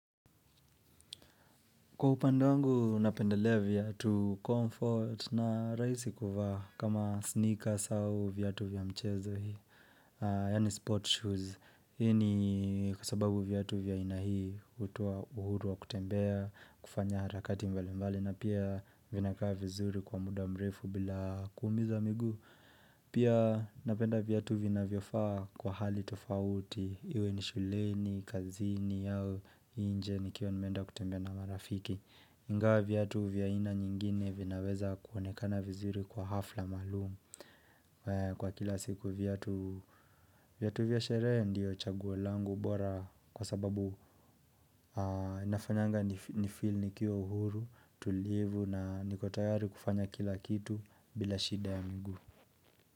Kwa upande wangu, napendelea viatu comfort na rahisi kuvaa, kama sneakers au viatu vya mchezo, yani sport shoes. Hii ni kwa sababu viatu vya aina hii hutupa uhuru wa kutembea, kufanya harakati mbalimbali, na pia vinakaa vizuri kwa muda mrefu bila kuumiza miguu. Pia napenda viatu vinavyofaa kwa hali tofauti, iwe ni shuleni, kazini, au nje nikiwa nimeenda kutembea na marafiki. Ingawa viatu vya aina nyingine vinaweza kuonekana vizuri kwa hafla maalum, kwa kila siku viatu vya starehe ndio chaguo langu bora kwa sababu nafanyanga nifeel nikiwa uhuru, tulivu na niko tayari kufanya kila kitu bila shida ya mingu.